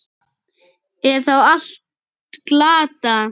Er þá allt glatað?